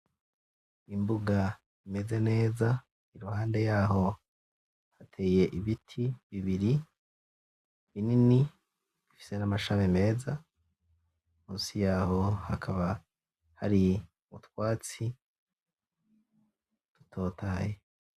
Imbuga imeze neza iruhande yaho hateye ibiti bibiri binini bifise n'amashami meza musi yaho hakaba hari utwatsi dutotahaye.